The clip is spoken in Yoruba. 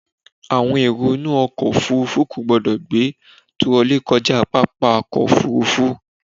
Àwọn èrò inú ọkọ̀ òfúrúfú kò gbọdọ̀ gbé tirọlí kọjá pápá ọkọ̀ òfúrúfú.